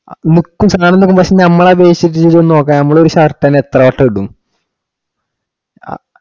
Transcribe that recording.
നമുക്ക് സാധനം നോക്കും, പക്ഷെ നമ്മൾ അതെ shirt ചെന്ന് നോക്കാൻ നമ്മളൊരു shirt അല്ലെ, നമ്മൾ എത്ര വട്ടം ഇടും അഹ്